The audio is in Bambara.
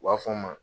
U b'a fɔ n ma